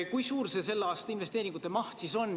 Kui suur selle aasta investeeringute maht on?